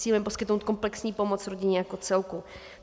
Cílem je poskytnout komplexní pomoc rodině jako celku.